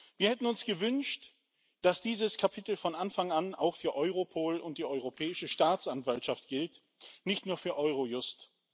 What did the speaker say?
Wir hätten uns gewünscht, dass dieses Kapitel von Anfang an auch für Europol und die Europäische Staatsanwaltschaft gilt, nicht nur für Eurojust.